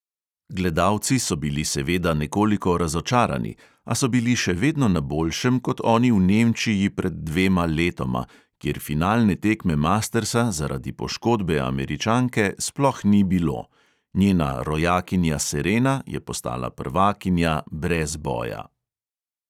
Gledalci so bili seveda nekoliko razočarani, a so bili še vedno na boljšem kot oni v nemčiji pred dvema letoma, kjer finalne tekme mastersa zaradi poškodbe američanke sploh ni bilo: njena rojakinja serena je postala prvakinja brez boja.